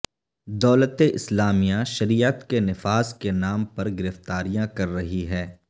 دولت اسلامیہ شریعت کے نفاذ کے نام پر گرفتاریاں کر رہی ہے